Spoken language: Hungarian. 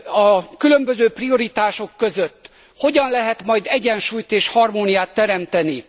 A különböző prioritások között hogyan lehet majd egyensúlyt és harmóniát teremteni?